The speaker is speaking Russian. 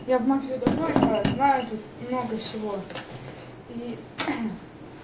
я в мафию давно играю знаю тут много всего и